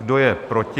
Kdo je proti?